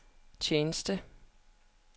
tjeneste